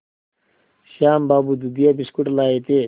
श्याम बाबू दूधिया बिस्कुट लाए थे